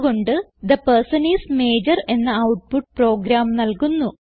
അത് കൊണ്ട് the person is major എന്ന ഔട്ട്പുട്ട് പ്രോഗ്രാം നൽകുന്നു